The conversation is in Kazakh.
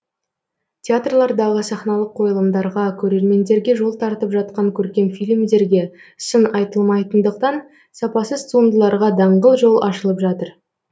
театрлардағы сахналық қойылымдарға көрермендерге жол тартып жатқан көркем фильмдерге сын айтылмайтындықтан сапасыз туындыларға даңғыл жол ашылып жатыр